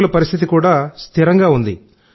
రోగుల పరిస్థితి కూడా స్థిరంగా ఉంది